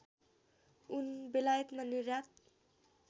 ऊन बेलायतमा निर्यात